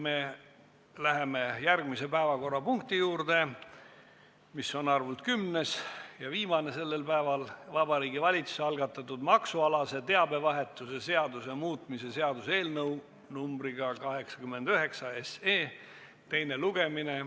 Me läheme järgmise päevakorrapunkti juurde, see on kümnes ja viimane sellel päeval: Vabariigi Valitsuse algatatud maksualase teabevahetuse seaduse muutmise seaduse eelnõu 89 teine lugemine.